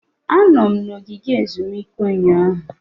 Anọ m na ogige ezumike ụnyaahụ.